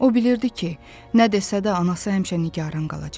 O bilirdi ki, nə desə də anası həmişə nigaran qalacaq.